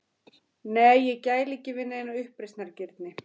Nei, ég gæli ekki við neina uppreisnargirni.